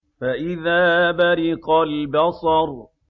فَإِذَا بَرِقَ الْبَصَرُ